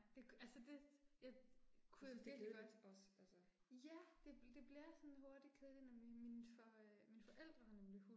Det altså det jeg kunne jeg virkelig godt. Ja, det det bliver sådan hurtigt kedeligt nemlig mine for mine forældre har nemlig hund